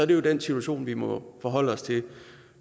det jo den situation vi må forholde os til